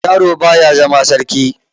Yaro baya zama sarki.